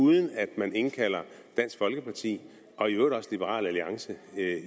uden at man indkalder dansk folkeparti og i øvrigt også liberal alliance